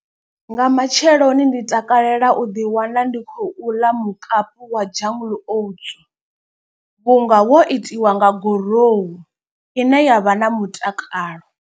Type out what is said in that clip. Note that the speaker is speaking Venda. Nga matsheloni ndi takalela u ḓi wana ndi khou ḽa mukapu wa jungle oats. Vhunga wo itiwa nga gorohu ine yavha na mutakalo.